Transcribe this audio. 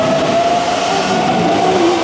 Elsku afi okkar er dáinn.